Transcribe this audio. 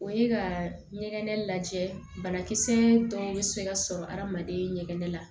O ye ka ɲɛgɛn lajɛ banakisɛ dɔw be se ka sɔrɔ adamaden ɲɛgɛn la